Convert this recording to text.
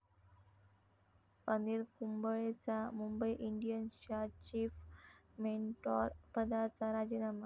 अनिल कुंबळेचा मुंबई इंडियन्सच्या चीफ मेंटॉरपदाचा राजीनामा